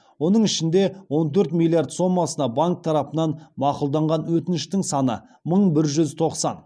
оның ішінде он төрт миллиард сомасына банк тарапынан мақұлданған өтініштің саны мың бір жүз тоқсан